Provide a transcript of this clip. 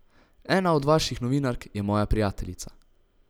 Ena od vaših novinark je moja prijateljica.